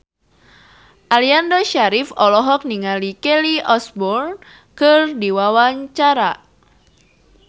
Aliando Syarif olohok ningali Kelly Osbourne keur diwawancara